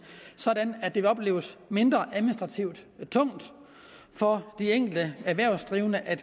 sådan at det vil opleves mindre administrativt tungt for de erhvervsdrivende at